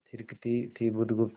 थिरकती थी बुधगुप्त